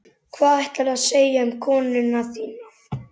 Hvað ætlaðirðu að segja um konuna þína?